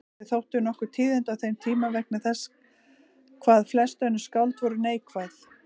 Þau þóttu nokkur tíðindi á þeim tíma vegna þess hvað flest önnur skáld voru neikvæð.